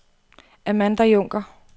Amanda Junker